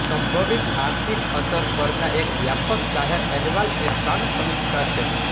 સંભવિત આર્થિક અસર પરના એક વ્યાપક જાહેર અહેવાલ એ સ્ટર્ન સમીક્ષા છે